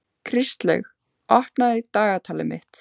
Kristlaug, opnaðu dagatalið mitt.